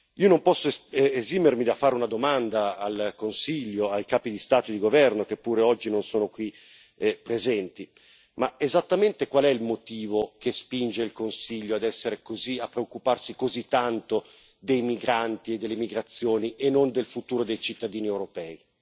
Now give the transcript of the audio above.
Io non posso esimermi dal fare una domanda al Consiglio, ai capi di Stato e di governo, che pure oggi non sono qui presenti esattamente qual è il motivo che spinge il Consiglio a preoccuparsi così tanto dei migranti e delle migrazioni e non del futuro dei cittadini europei?